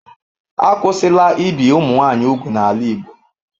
Akwụsịla ibi ụmụ nwanyị úgwù n'ala Igbo.